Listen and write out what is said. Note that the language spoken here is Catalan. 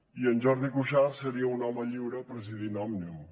i en jordi cuixart seria un home lliure presidint òmnium